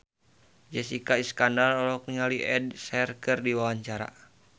Jessica Iskandar olohok ningali Ed Sheeran keur diwawancara